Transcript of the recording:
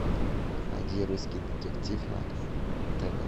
найди русский детектив на тв